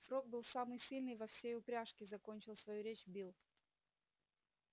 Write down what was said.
фрог был самый сильный во всей упряжке закончил свою речь билл